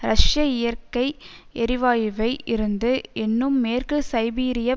ரஷ்ய இயற்கை எரிவாயுவை இருந்து என்னும் மேற்கு சைபீரியப்